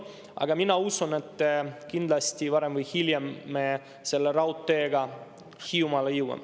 Aga mina usun, et kindlasti varem või hiljem me selle raudteega Hiiumaale jõuame.